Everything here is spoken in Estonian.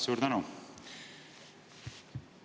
Suur tänu!